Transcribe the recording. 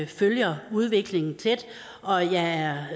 følger udviklingen tæt og jeg er